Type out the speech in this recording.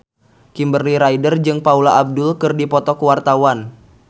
Kimberly Ryder jeung Paula Abdul keur dipoto ku wartawan